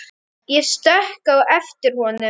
Ég stökk á eftir honum.